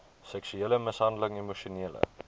seksuele mishandeling emosionele